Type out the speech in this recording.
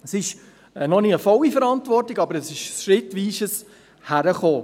Dies ist noch keine volle Verantwortung, aber es ist ein schrittweises Hinkommen.